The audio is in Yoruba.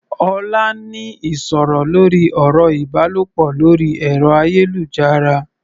Ọlá ń ní ìsọ̀rọ̀ lórí ọ̀rọ̀ ìbálòpọ̀ lórí ẹ̀rọ-ayélujára.